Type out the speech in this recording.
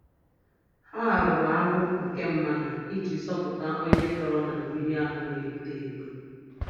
Ha rụrụ agbụ nke mmadụ iji zọpụta onye tọrọ na mmiri ahụ na-eto eto.